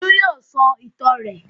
Olú yóò sọ ìtàn rẹ̀.